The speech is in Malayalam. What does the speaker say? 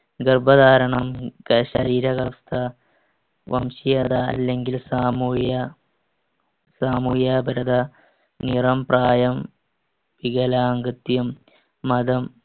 ഗർഭധാരണം, ക~ ശരീരവ്യവസ്ഥ, വംശീയത അല്ലെങ്കിൽ സാമൂഹിക~ സാമൂഹിക അബലത, നിറം, പ്രായം, വികലാംഗത്വം, മതം,